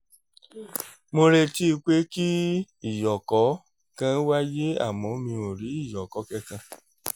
mo retí pé kí ìyọ̀kọ̀ kan wáyé àmọ́ mi ò rí ìyọ̀kọ́ kankan